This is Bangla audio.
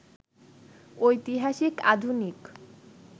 ঐতিহাসিক, আধুনিক